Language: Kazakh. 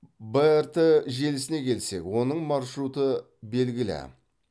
брт желісіне келсек оның маршруты белгілі